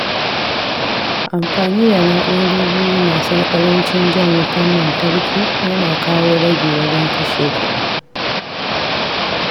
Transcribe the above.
Amfani da na’urori masu ƙarancin jan wutar lantarki yana kawo ragi wajen kashe kuɗi.